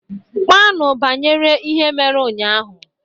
Kpaanụ banyere ihe mere ụnyahụ!